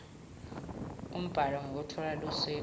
umbhalo ngekutfola lusito